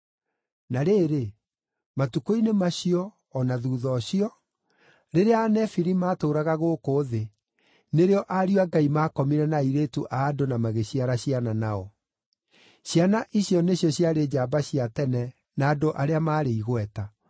Na rĩrĩ, matukũ-inĩ macio, o na thuutha ũcio, rĩrĩa Anefili matũũraga gũkũ thĩ, nĩrĩo ariũ a Ngai maakomire na airĩtu a andũ na magĩciara ciana nao. Ciana icio nĩcio ciarĩ njamba cia tene na andũ arĩa maarĩ igweta.